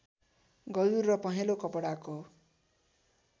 गजुर र पहेँलो कपडाको